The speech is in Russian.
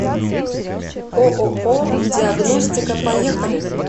ооо диагностика поехали